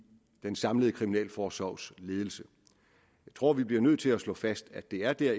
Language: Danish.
den samlede kriminalforsorgs ledelse jeg tror vi bliver nødt til at slå fast at det er der